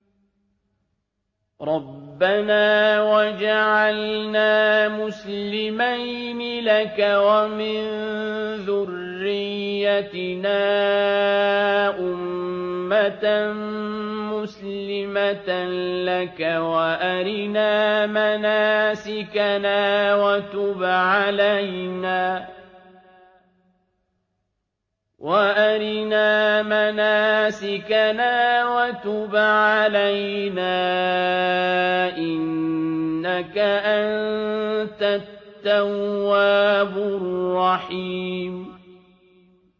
رَبَّنَا وَاجْعَلْنَا مُسْلِمَيْنِ لَكَ وَمِن ذُرِّيَّتِنَا أُمَّةً مُّسْلِمَةً لَّكَ وَأَرِنَا مَنَاسِكَنَا وَتُبْ عَلَيْنَا ۖ إِنَّكَ أَنتَ التَّوَّابُ الرَّحِيمُ